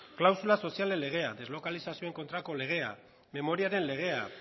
klausula sozialen legea deslokalizazioei kontrako legea memoriaren legea